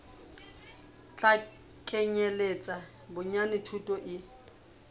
tla kenyeletsa bonyane thuto e